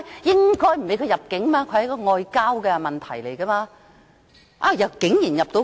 應該不准他入境，那是外交問題，但他竟然能夠入境。